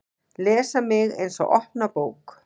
Les mig eins og opna bók.